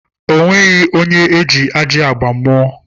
O nweghi onye ji ajị agba mụọ.